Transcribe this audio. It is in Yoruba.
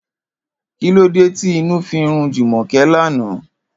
Kílódé tí inú fi rún Jùmò̩ké lánàá?